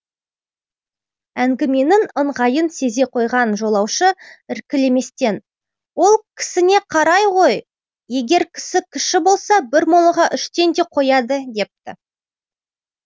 әңгіменің ыңғайын сезе қойған жолаушы іркілместен ол кісіне қарай ғой егер кісі кіші болса бір молаға үштен де қояды депті